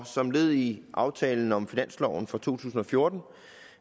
og som led i aftalen om finansloven for to tusind og fjorten